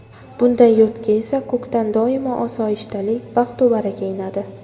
Bunday yurtga esa ko‘kdan doimo osoyishtalik, baxtu baraka inadi.